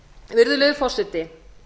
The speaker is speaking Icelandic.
virðulegi forseti